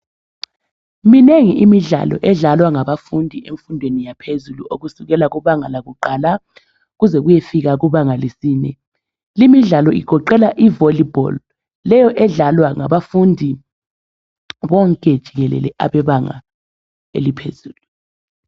minengi imidlalo edlalwa ngabafundi emfundweni yaphezulu okusukela kubanga lakuqala kuze kuyefika kubanga lesine limidlalo igoqela i volleyball leyo edlalwa ngabafundi bonke jikelele abebanga eliphezulu